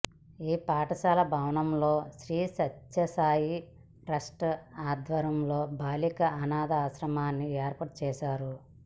ఈ పాఠశాల భవనంలో శ్రీ సత్యసాయి ట్రస్టు ఆధ్వర్యంలో బాలికల అనాథ ఆశ్రమాన్ని ఏర్పాటు చేశారు